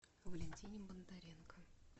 валентине бондаренко